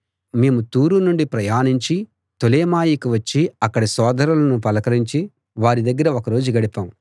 మేము తూరు నుండి ప్రయాణించి తొలెమాయికి వచ్చి అక్కడి సోదరులను పలకరించి వారి దగ్గర ఒక రోజు గడిపాం